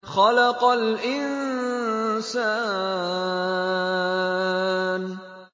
خَلَقَ الْإِنسَانَ